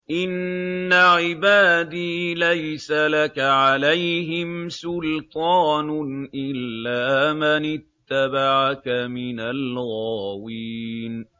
إِنَّ عِبَادِي لَيْسَ لَكَ عَلَيْهِمْ سُلْطَانٌ إِلَّا مَنِ اتَّبَعَكَ مِنَ الْغَاوِينَ